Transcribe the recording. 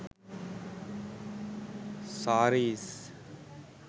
sarees